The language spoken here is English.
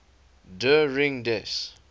der ring des